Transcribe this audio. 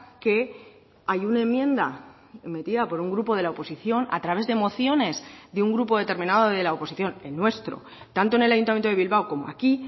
que hay una enmienda metida por un grupo de la oposición a través de mociones de un grupo determinado de la oposición el nuestro tanto en el ayuntamiento de bilbao como aquí